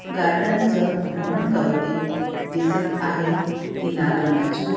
Garden च भ्रमण करवते दिसत आहे. ती लाल रंगाची आ--